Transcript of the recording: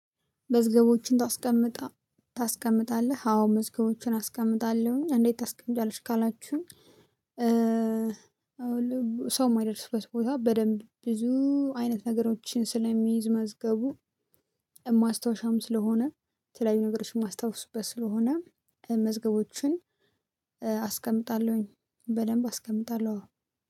መዝገቦችን ታስቀምጣለህ? አዎ መዝገቦችን አስቀምጣለሁኝ እንዴት ታስቀምጫለሽ? ካላችሁኝ ሰው የማይደርሱበት ቦታ በደንብ ብዙ አይነት ነገሮችን ስለሚይዝ መዝገቡ ማስታወሻም ስለሆነ የተለያዩ ነገሮችን ማስታወስበት ስለሆነ መዝገቦችን አስቀምጣለሁኝ። በደንብ አስቀምጣለሁ አዎ።